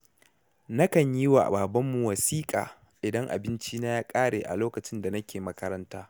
Nakan yi wa babanmu wasiƙa idan abincina ya ƙare a lokacin da nake makaranta.